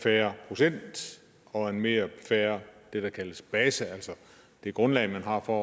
fair procent og en mere fair base altså det grundlag man har for